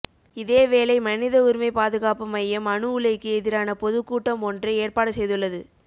இதே வேளை மனித உரிமைப்பாதுகாப்பு மையம் அணு உலைக்கு எதிரான பொதுக் கூட்டம் ஒன்றை ஏற்பாடு செய்துள்ளது